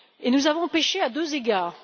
Nous avons péché à deux égards.